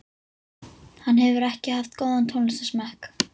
Hann hefur ekki haft góðan tónlistarsmekk